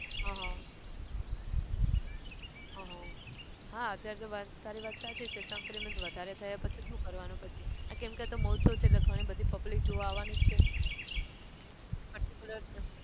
આહ આહ હા અત્યારે તો વાત તારી વાત સાચી છે. સંક્રમિત વધારે થાય પછી શું કરવાનું પછી? કેમ કે આ તો મહોત્સવ છે એટલે ગણી બધી public જોવા આવાની જ છે